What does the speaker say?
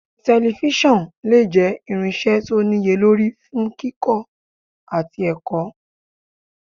“Tẹlifíṣọ̀n lè jẹ́ irinṣẹ́ tó níye lórí fún kíkọ́ àti ẹ̀kọ́. "